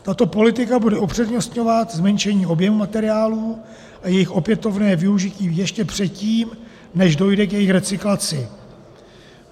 Tato politika bude upřednostňovat zmenšení objemu materiálů a jejich opětovné využití ještě předtím, než dojde k jejich recyklaci.